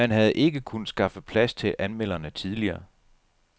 Man havde ikke kunnet skaffe plads til anmelderne tidligere.